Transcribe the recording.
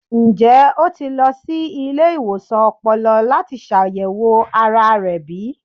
Njẹ o ti lọ si ile-iwosan ọpọlọ lati ṣayẹwo ara rẹ bi?